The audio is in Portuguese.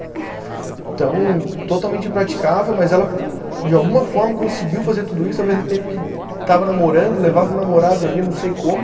Então, totalmente impraticável, mas ela de alguma forma conseguiu fazer tudo isso ao mesmo tempo que que estava namorando, levava o namorado ali, não sei como.